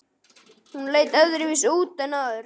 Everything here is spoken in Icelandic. Hún leit öðruvísi út en áður.